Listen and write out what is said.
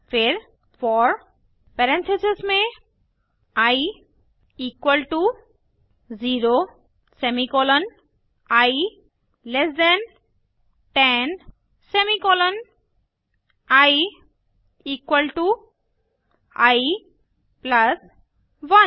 फिर for parenthesis में i equal to 0 semicolon i less than 10 semicolon i equal to i plus 1